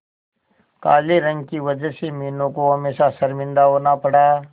काले रंग की वजह से मीनू को हमेशा शर्मिंदा होना पड़ा